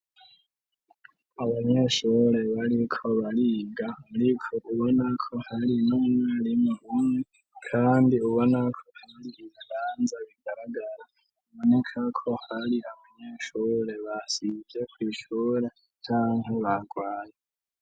Abanyeshure bari ko bariga ariko ubona ko hari n'umwarimwe umwe kandi ubona ko hari ibihanza bigaragara bonika ko hari abanyeshure basivye canke bagwaye.